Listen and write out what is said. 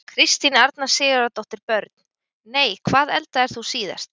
Kristín Arna Sigurðardóttir Börn: Nei Hvað eldaðir þú síðast?